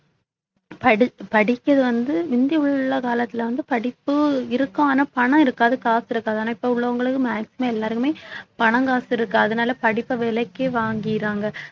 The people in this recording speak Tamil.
படிக்~ படிக்கிறது வந்து முந்தி உள்ள காலத்துல வந்து படிப்பு இருக்கும் ஆனா பணம் இருக்காது காசு இருக்காது ஆனா இப்ப உள்ளவங்களுக்கு maximum எல்லாருக்குமே பணம் காசு இருக்கு அதனால படிப்பை விலைக்கு வாங்கிடுறாங்க